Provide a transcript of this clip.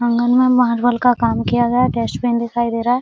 आंगन में मार्बल का काम किया गया है डस्टबिन दिखाई दे रहा है।